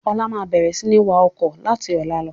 Ọlá máa bẹ̀rẹ̀ sini wá ọkọ̀ láti ọ̀la lọ.